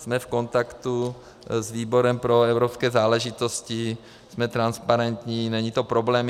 Jsme v kontaktu s výborem pro evropské záležitosti, jsme transparentní, není to problém.